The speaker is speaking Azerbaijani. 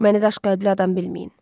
Məni daşqəlbli adam bilməyin.